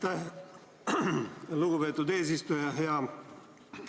Aitäh, lugupeetud eesistuja!